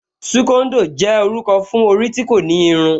Súkóndò jẹ́ orúkọ fún orí tí kò ní irun